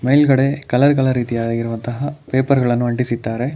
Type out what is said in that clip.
ಮೇಲ್ಗಡೆ colour colour ರೀತಿಯಾಗಿರುವಂತಹ paper ಗಳನ್ನು ಅಂಟಿಸಿದ್ದಾರೆ.